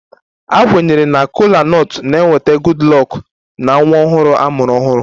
A kwenyere na Kola nut na-eweta Goodluck na nwa ọhụrụ a mụrụ ọhụrụ